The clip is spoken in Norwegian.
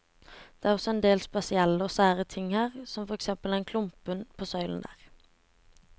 Det er også en del spesielle og sære ting her, som for eksempel den klumpen på søylen der.